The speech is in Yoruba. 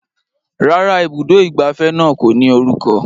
Rárá, ibùdó ìgbafẹ́ náà kò ní orúkọ